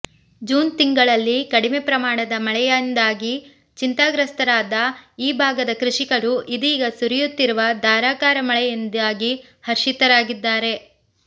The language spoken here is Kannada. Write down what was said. ಜೂನ್ ತಿಂಗಳಲ್ಲಿ ಕಡಿಮೆ ಪ್ರಮಾಣದ ಮಳೆಯಿಂದಾಗಿ ಚಿಂತಾಗ್ರಸ್ತರಾದ್ದ ಈ ಭಾಗದ ಕೃಷಿಕರು ಇದೀಗ ಸುರಿಯುತ್ತಿರುವ ಧಾರಾಕಾರ ಮಳೆಯಿಂದಾಗಿ ಹರ್ಷಿತರಾಗಿದ್ದಾರೆ